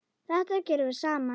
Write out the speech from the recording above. Þetta gerðum við saman.